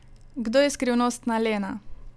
Kdo je skrivnostna Lena?